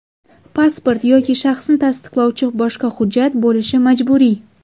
Pasport yoki shaxsni tasdiqlovchi boshqa hujjat bo‘lishi majburiy.